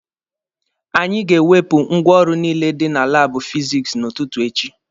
Anyị ga-ewepụ ngwaọrụ niile dị na laabụ fizikisi n'ụtụtụ echi.